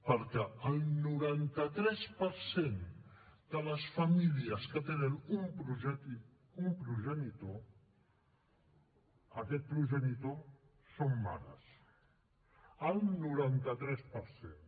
perquè el noranta tres per cent de les famílies que tenen un progenitor aquest progenitor són mares el noranta tres per cent